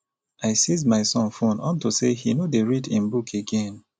i seize my son phone unto say e no dey read im book again